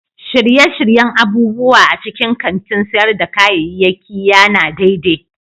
Shirye-shiryen abubuwa a cikin kantin sayar da kayayyaki ya na daidai